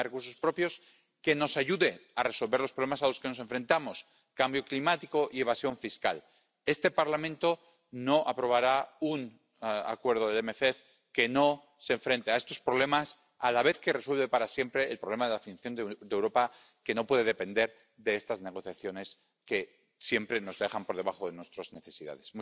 Un sistema de recursos propios que nos ayude a resolver los problemas a los que nos enfrentamos cambio climático y evasión fiscal. Este Parlamento no aprobará un acuerdo de MFP que no haga frente a estos problemas a la vez que resuelve para siempre el problema de la financiación de Europa, que no puede depender de estas negociaciones que siempre nos dejan por debajo de nuestras necesidades.